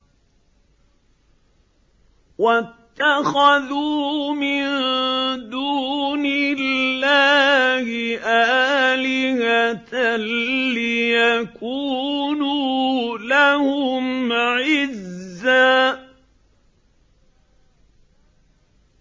وَاتَّخَذُوا مِن دُونِ اللَّهِ آلِهَةً لِّيَكُونُوا لَهُمْ عِزًّا